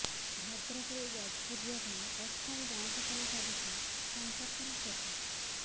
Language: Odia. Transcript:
ଭଦ୍ରକରୁ ଯାଜପୁର ଯିବାପାଇଁ ଅସ୍ଥାୟୀ ବାଉଁଶ ପୋଲ ସାଜିଛି ସଂପର୍କର ସେତୁ